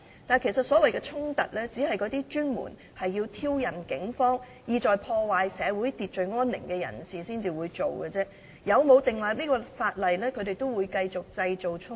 然而，所謂的衝突只是由那些專門挑釁警方，意在破壞社會秩序安寧的人製造的，所以無論立法與否，他們依然會繼續製造衝突。